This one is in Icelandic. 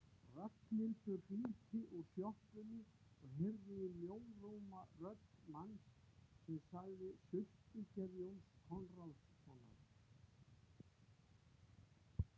Ragnhildur hringdi úr sjoppunni og heyrði í mjóróma rödd manns sem sagði: Sultugerð Jóns Konráðssonar